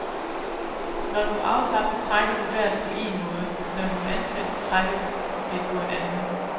Når du er afslappet, trækker du vejret på en måde, når du er anspændt, trækker du det på en anden.